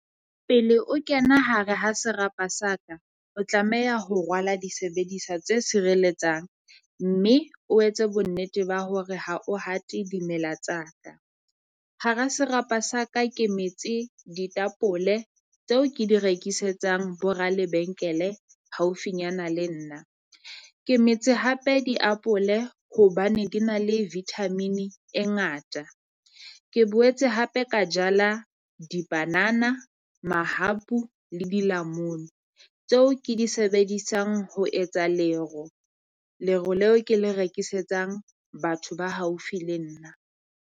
Pele o kena hare ha serapa sa ka, o tlameha ho rwala disebediswa tse sireletsang. Mme o etse bonnete ba hore ha o hate dimela tsa ka. Hara serapa sa ka ke metse ditapole tseo ke di rekisetsang bo ra lebenkele haufinyana le nna, ke metse hape diapole hobane ke na le vitamin-e e Ngata. Ke boetse hape ka jala dibanana, mahapu le dilamunu tseo ke di sebedisang ho etsa lero. Lero leo ke le rekisetsang batho ba haufi le nna.